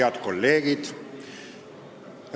Head kolleegid!